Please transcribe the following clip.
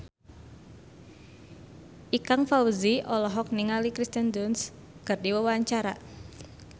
Ikang Fawzi olohok ningali Kirsten Dunst keur diwawancara